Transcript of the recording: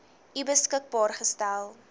u beskikbaar gestel